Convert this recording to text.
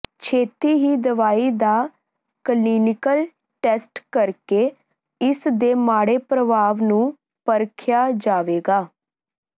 ਛੇਤੀ ਹੀ ਦਵਾਈ ਦਾ ਕਲੀਨਿਕਲ ਟੈਸਟ ਕਰਕੇ ਇਸ ਦੇ ਮਾੜੇ ਪ੍ਰਭਾਵ ਨੂੰ ਪਰਖਿਆ ਜਾਏਗਾ